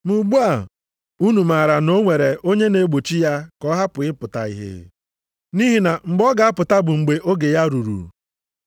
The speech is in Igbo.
Ma ugbu a, unu maara na o nwere onye na-egbochi ya ka ọ hapụ ịpụta ihe. Nʼihi na mgbe ọ ga-apụta bụ mgbe oge ya ruru.